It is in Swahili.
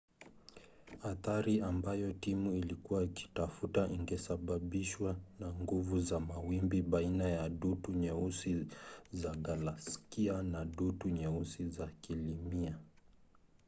athari ambayo timu ilikuwa ikitafuta ingesababishwa na nguvu za mawimbi baina ya dutu nyeusi za galaksia na dutu nyeusi za kilimia